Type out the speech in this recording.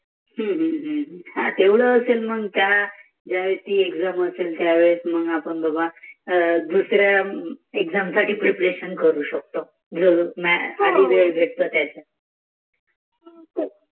तेवड असेल मग त्या ज्या वेळी असेल दुसऱ्या साठी करू शकतो.